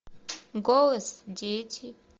голос дети